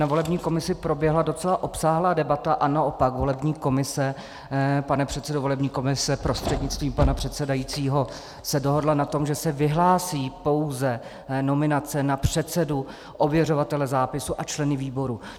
Na volební komisi proběhla docela obsáhlá debata a naopak volební komise, pane předsedo volební komise prostřednictvím pana předsedajícího, se dohodla na tom, že se vyhlásí pouze nominace na předsedu, ověřovatele zápisu a členy výboru.